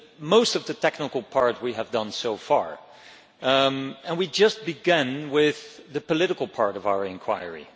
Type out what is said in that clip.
Most of the technical part we have done so far, and we have just begun with the political part of our inquiry.